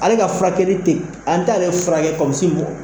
Ale ka furakɛli tɛ, an t'ale furakɛ kɔmi sin bɔn.